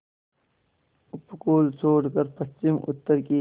उपकूल छोड़कर पश्चिमउत्तर की